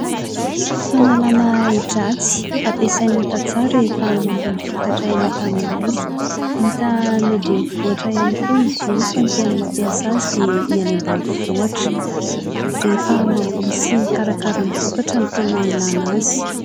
Fanalana ahi-dratsy ampiasain'ny tantsaha rehefa mamboly vokatra eny an-tanimboly. Hita any andrenivohitra ihany koa izy io fa ny tena mampiasa azy dia ny any ambanivohitra. Rehefa mamboly sy mikarakara ny vokatra no tena ilana azy.